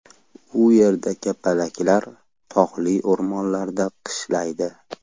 U yerda kapalaklar tog‘li o‘rmonlarda qishlaydi.